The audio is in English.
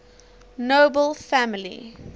nobel family